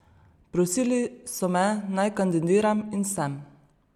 Prosili so me, naj kandidiram, in sem.